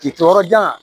K'i to yɔrɔ jan